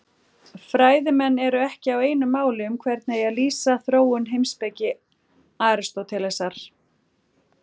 Fræðimenn eru ekki á einu máli um hvernig eigi að lýsa þróun heimspeki Aristótelesar.